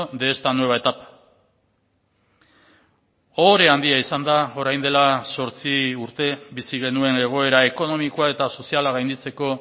de esta nueva etapa ohore handia izan da orain dela zortzi urte bizi genuen egoera ekonomikoa eta soziala gainditzeko